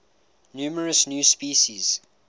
numerous new species